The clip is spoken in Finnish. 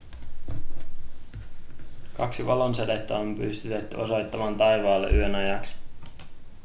kaksi valonsädettä on pystytetty osoittamaan taivaalle yön ajaksi